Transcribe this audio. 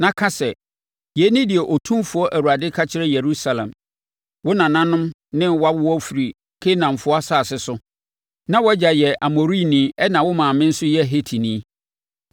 na ka sɛ, ‘Yei ne deɛ Otumfoɔ Awurade ka kyerɛ Yerusalem: Wo nananom ne wʼawoɔ firi Kanaanfoɔ asase so; na wʼagya yɛ Amorini ɛnna wo maame nso yɛ Hetini.